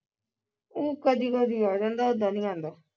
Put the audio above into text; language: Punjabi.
ਊ ਕਦੀ ਕਦੀ ਆ ਜਾਂਦਾ ਉੱਦਾਂ ਨੀ ਆਂਦਾ